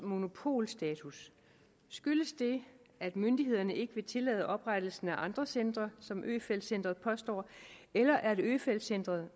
monopolstatus skyldes det at myndighederne ikke vil tillade oprettelsen af andre centre som øfeldt centret påstår eller at øfeldt centret